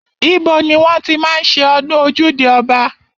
Ibo ni wọ́n ti máa ń ṣe ọdún ojúde ọba?